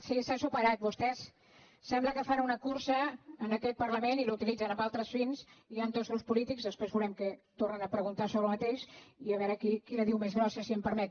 sí s’ha superat vostès sembla que fan una cursa en aquest parlament i l’utilitzen amb altres fins hi han dos grups polítics després veurem que tornen a preguntar sobre el mateix i a veure qui la diu més grossa si m’ho permet